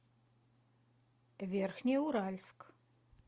верхнеуральск